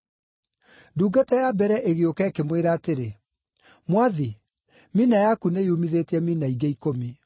“Ndungata ya mbere ĩgĩũka, ĩkĩmwĩra atĩrĩ, ‘Mwathi, mina yaku nĩyumithĩtie mina ingĩ ikũmi.’